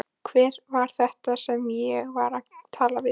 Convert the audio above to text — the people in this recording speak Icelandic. Hver var þetta sem ég var að tala við?